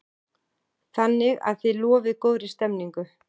Þannig að þið lofið góðri stemningu?